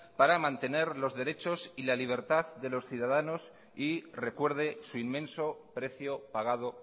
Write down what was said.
para mantener los derechos y la libertad de los ciudadanos y recuerde su inmenso precio pagado